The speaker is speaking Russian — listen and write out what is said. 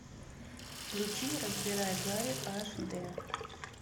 включи разбирая гарри аш дэ